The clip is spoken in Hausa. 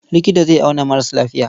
Likita zai auna maras lafiya.